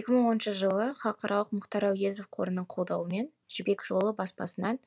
екі мың оныншы жылы халықаралық мұхтар әуезов қорының қолдауымен жібек жолы баспасынан